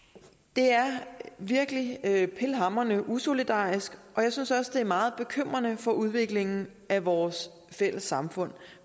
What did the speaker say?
det er virkelig pilhamrende usolidarisk og jeg synes også er meget bekymrende for udviklingen af vores fælles samfund